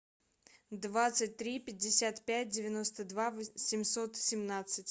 двадцать три пятьдесят пять девяносто два семьсот семнадцать